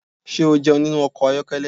Ṣé o jẹun nínú ọkọ̀ ayokele?